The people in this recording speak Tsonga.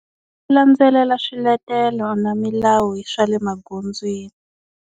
Ku landzelela swiletelo na milawu swa le magondzweni.